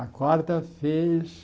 A quarta fez...